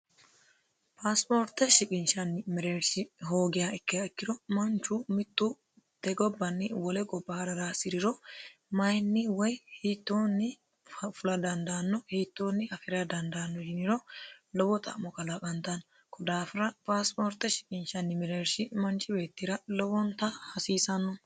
Pasporte shiqishanni mereershi hoogiha ikkiro manchu mitu tene gobbanni wole gobba ha'rara hasiriro mayinni woyi hiittoni fulla dandaano hiittonni afira dandaano yiniro lowo xa'mo kalaqantano konni daafira Pasport shiqinshanni mereershi lowontanni hasiisano.